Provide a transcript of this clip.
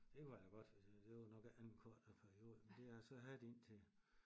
Det var jo godt det var nok af en kortere periode men det så havde de én til